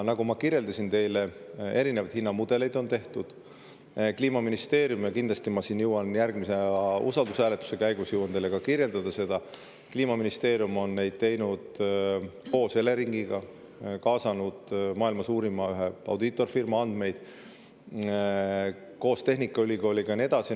Ma kirjeldasin teile, et tehtud on erinevaid hinnamudeleid, ja kindlasti ma jõuan järgmise usaldushääletuse käigus teile kirjeldada seda, et Kliimaministeerium on neid teinud koos Eleringiga, kaasanud ühe maailma suurima audiitorfirma andmeid koos tehnikaülikooliga, ja nii edasi.